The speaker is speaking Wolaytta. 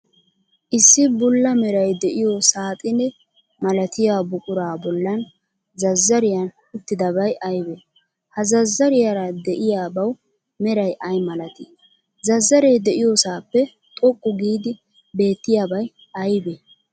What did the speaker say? Issi bulla meray de'iyo saaxine malatiyaa buquraa bollan zazzariyan uttidabay aybee? He zazzariyaara de'iyaabawu meray ay malatii? Zazzaree de'iyoosaappe xoqqu giidi beettiyabay aybee?